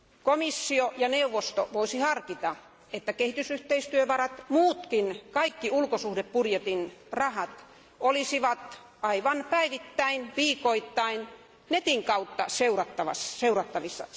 Komissio ja neuvosto voisivat harkita, että kehitysyhteistyövarat, kaikki ulkosuhdebudjetin rahat, olisivat aivan päivittäin ja viikoittain Internetin kautta seurattavissa.